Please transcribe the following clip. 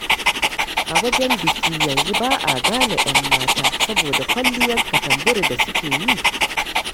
A wajen biki yanzu ba'a gane 'yan mata, saboda kwalliyar katamburi da suke yi.